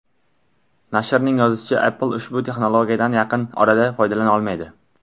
Nashrning yozishicha, Apple ushbu texnologiyadan yaqin orada foydalana olmaydi.